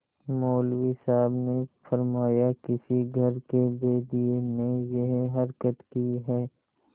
मौलवी साहब ने फरमाया किसी घर के भेदिये ने यह हरकत की है